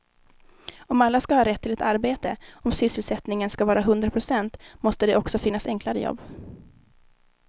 Om alla ska ha rätt till ett arbete, om sysselsättningen ska vara hundra procent måste det också finnas enklare jobb.